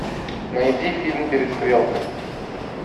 найди фильм перестрелка